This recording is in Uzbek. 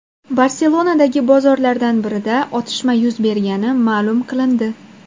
Barselonadagi bozorlardan birida otishma yuz bergani ma’lum qilindi.